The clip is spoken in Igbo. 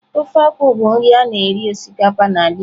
Ofe akwu bụ nri a na-eri osikapa n'ala Igbo.